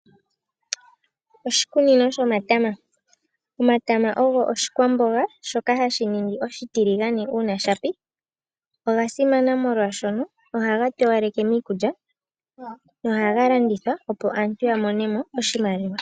Oshikunino shomatama. Omatama ogo oshikwamboga shoka hashi ningi oshitiligane uuna shapi. Oga simana molwaashono ohaga towaleke miikulya nohaga landithwa opo aantu ya mone iimaliwa.